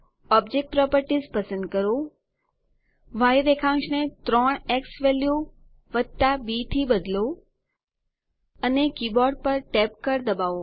object properties પસંદ કરો ય રેખાંશ ને 3 ઝવેલ્યુ બી થી બદલો અને કીબોર્ડ પર ટેબ કળ દબાવો